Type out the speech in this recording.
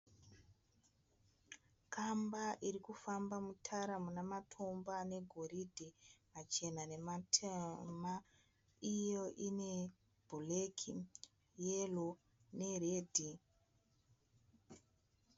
Kamba iri kufamba mutara muna matombo ane goridhe, machena nematema. Iyo ine bhureki, yero neredhi.